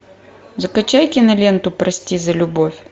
закачай киноленту прости за любовь